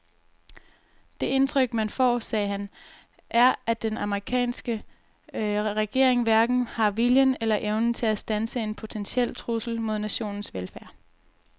Det indtryk man får, sagde han, er at den amerikanske regering hverken har viljen eller evnen til at standse en potentiel trussel mod nationens velfærd.